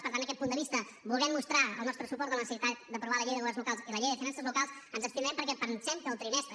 per tant aquest punt de vista volent mostrar el nostre suport en la necessitat d’aprovar la llei de governs locals i la llei de finances locals ens abstindrem perquè pensem que el trimestre